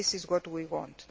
This is what we